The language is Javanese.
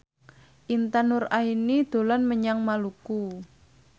Intan Nuraini dolan menyang Maluku